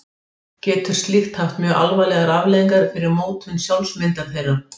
Getur slíkt haft mjög alvarlegar afleiðingar fyrir mótun sjálfsmyndar þeirra.